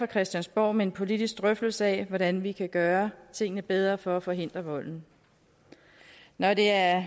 christiansborg med en politisk drøftelse af hvordan vi kan gøre tingene bedre for at forhindre volden når det er